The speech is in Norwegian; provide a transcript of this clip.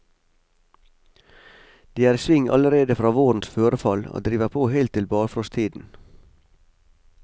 De er i sving allerede fra vårens førefall, og driver på helt til barfrosttiden.